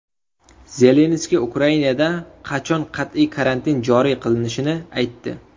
Zelenskiy Ukrainada qachon qat’iy karantin joriy qilinishini aytdi.